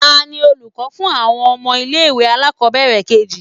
Tani olukọ fún awọn ọmọ ile-iwe alakobere keji?